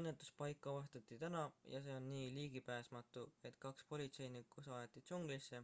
õnnetuspaik avastati täna ja see on nii ligipääsmatu et kaks politseinikku saadeti džunglisse